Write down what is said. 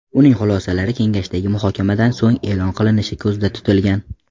Uning xulosalari kengashdagi muhokamadan so‘ng e’lon qilinishi ko‘zda tutilgan.